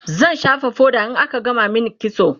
zan shafa foda in aka gama min kitso